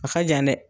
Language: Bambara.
A ka jan dɛ